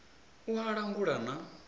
a u langula na u